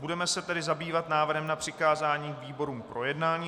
Budeme se tedy zabývat návrhem na přikázání výborům k projednání.